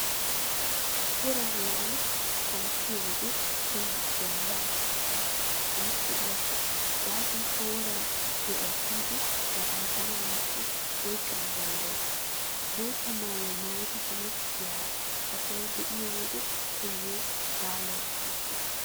Woraa heeraara kanttiyo wode taayyo bollan shaaphphees woykko yashshees gaasoykka woraa do'ay kiyidi daganttana woykko oyqqana danddayees. Bootta maayuwaa maayidi hemettiyaa asaa be'iyo wode taayyo baalay qopettees.